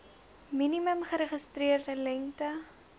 minimum geregistreerde lengte